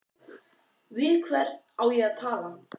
Við hvern á ég að tala?